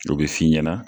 O bɛ f'i ɲɛna